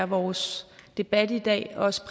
vores debat i dag også